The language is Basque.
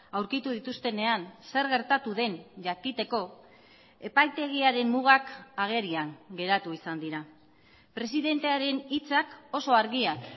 aurkitu dituztenean zer gertatu den jakiteko epaitegiaren mugak agerian geratu izan dira presidentearen hitzak oso argiak